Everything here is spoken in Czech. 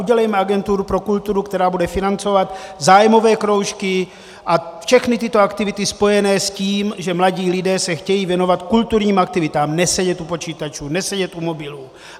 Udělejme agenturu pro kulturu, která bude financovat zájmové kroužky a všechny tyto aktivity spojené s tím, že mladí lidé se chtějí věnovat kulturním aktivitám, nesedět u počítačů, nesedět u mobilů.